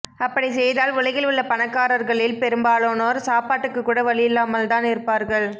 அப்படிச்செய்தால் உலகில் உள்ள பணக்காரர்களில் பெரும்பாலானோர் சாப்பாட்டுக்கு கூட வழியில்லாமல்தான் இருப்பார்கள்